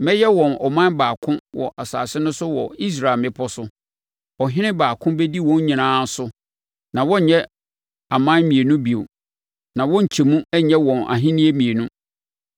Mɛyɛ wɔn ɔman baako wɔ asase no so wɔ Israel mmepɔ so. Ɔhene baako bɛdi wɔn nyinaa so na wɔrenyɛ aman mmienu bio, na wɔrenkyɛ mu nyɛ wɔn ahennie mmienu.